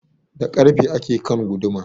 Da karfe ake kan guduma